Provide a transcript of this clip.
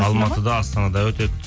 алматыда астанада өтеді